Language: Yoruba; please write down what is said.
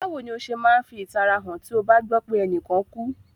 Bàwoni o se ma n fi ìtara han ti o ba gbọ pe enìkan kú?